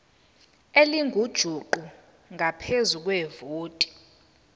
elingujuqu ngaphezu kwevoti